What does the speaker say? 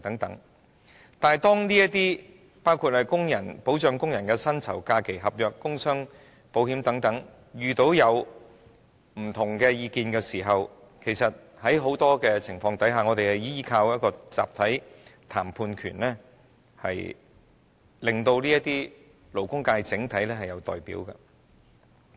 但是，在保障工人薪酬、假期、合約及工傷保險等問題上出現意見分歧時，其實在很多情況下，我們也要依靠一個集體談判權，令整體勞工界有人代表。